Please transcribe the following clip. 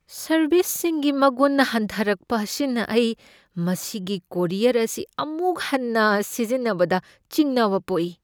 ꯁꯔꯕꯤꯁꯀꯤ ꯃꯒꯨꯟ ꯍꯟꯊꯔꯛꯄ ꯑꯁꯤꯅ ꯑꯩ ꯃꯁꯤꯒꯤ ꯀꯣꯔꯤꯌꯔ ꯑꯁꯤ ꯑꯃꯨꯛ ꯍꯟꯅ ꯁꯤꯖꯤꯟꯅꯕꯗ ꯆꯤꯡꯅꯕ ꯄꯣꯛꯏ ꯫